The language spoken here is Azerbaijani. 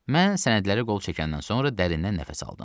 Mən sənədləri qol çəkəndən sonra dərindən nəfəs aldım.